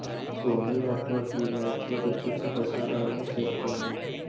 Sony network ఈ match ల ప్రత్యక్ష ప్రసారాలను చేస్తోంది